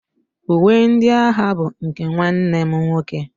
Uwe ndị agha bụ nke nwanne m nwoke.